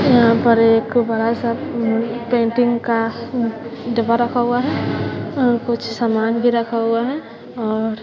यहां पर एक बड़ा सा पेंटिंग का डिब्बा रखा हुआ है और कुछ सामान भी रखा हुआ है और--